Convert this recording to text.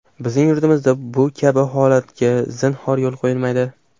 Bizning yurtimizda bu kabi holatlarga zinhor yo‘l qo‘yilmaydi.